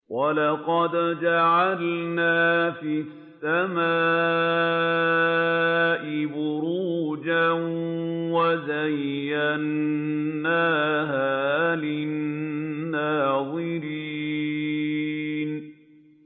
وَلَقَدْ جَعَلْنَا فِي السَّمَاءِ بُرُوجًا وَزَيَّنَّاهَا لِلنَّاظِرِينَ